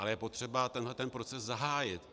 Ale je potřeba tenhle ten proces zahájit.